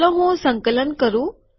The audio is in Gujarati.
ચાલો હું સંકલન કરું